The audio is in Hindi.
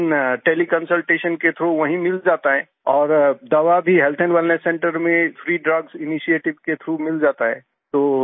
लेकिन तेले कंसल्टेशन के थ्राउघ वहीँ मिल जाता है और दवा भी हेल्थ वेलनेस सेंटर में फ्री ड्रग्स इनिशिएटिव के थ्राउघ मिल जाता है